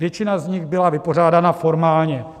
Většina z nich byla vypořádána formálně.